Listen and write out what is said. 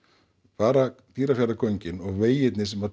bara Dýrafjarðargöngin og vegirnir sem